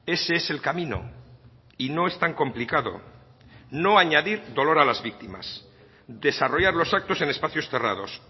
ese es el camino y no es tan complicado no añadir dolor a las víctimas desarrollar los actos en espacios cerrados